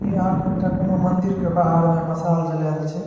यहाँ के एकटा कौनो मंदिर के बाहर में मसाल जलाएल छे।